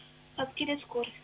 қазір келеді скорый